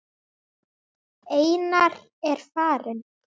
Einar er farinn.